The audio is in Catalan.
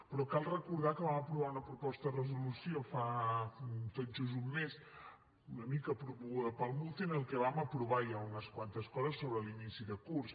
però cal recordar que vam aprovar una proposta de resolució fa tot just un mes una mica promoguda pel muce en què que vam aprovar ja unes quantes coses sobre l’inici de curs